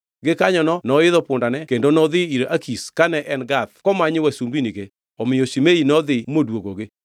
Gikanyono noidho pundane kendo nodhi ir Akish kane en Gath komanyo wasumbinige, omiyo Shimei nodhi moduogogi.